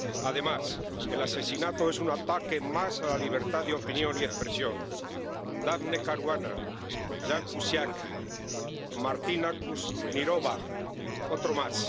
Además, el asesinato es un ataque más a la libertad de opinión y expresión Daphne Caruana, Jan Cusack, Martina Kusnirova, otro más.